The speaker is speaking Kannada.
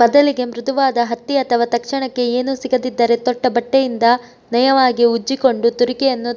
ಬದಲಿಗೆ ಮೃದುವಾದ ಹತ್ತಿ ಅಥವಾ ತಕ್ಷಣಕ್ಕೆ ಏನೂ ಸಿಗದಿದ್ದರೆ ತೊಟ್ಟ ಬಟ್ಟೆಯಿಂದ ನಯವಾಗಿ ಉಜ್ಜಿಕೊಂಡು ತುರಿಕೆಯನ್ನು